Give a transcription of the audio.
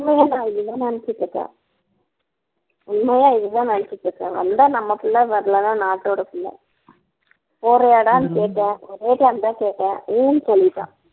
இதான் நினைச்சுட்டு இருக்கேன் உண்மையா இது தான் நினைச்சுட்டு இருக்கேன் வந்தா நம்ம பிள்ளை வரலன்னா நாட்டோட பிள்ளை போறியாடான்னு கேட்டேன் போறியாடான்னு தான் கேட்டேன் ஊன்னு சொல்லிட்டான்